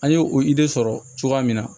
An ye o de sɔrɔ cogoya min na